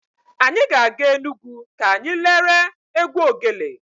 Anyị ga-aga Enugwu ka anyị lere egwu ogele.